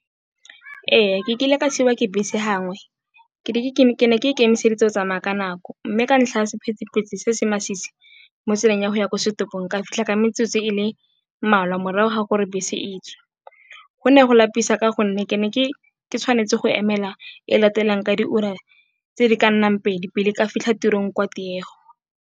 Ee, ke kile ka siwa ke bese gangwe. Ke ne ke ikemiseditse go tsamaya ka nako mme ka ntlha ya sephethe-pethe se se masisi mo tseleng ya go ya ko setopong, ka fitlha ka metsotso e le mmalwa morago ga gore bese e tswe. Go ne go lapisa ka gonne ke ne ke tshwanetse go emela e latelang ka diura tse di ka nnang pedi pele ka fitlha tirong ka tiego.